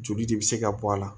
Joli de bɛ se ka bɔ a la